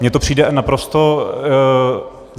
Mně to přijde naprosto...